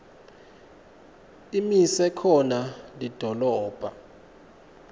imise khona lidolobha